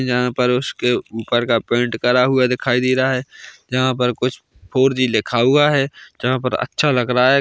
जहां पर उसके ऊपर का पेन्ट करा हुआ दिखाई दे रहा है जहां पर कुछ फॉर जी लिखा हुआ है जहां पर अच्छा लग रहा है।